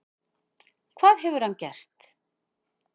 Hvað hefur hann gert?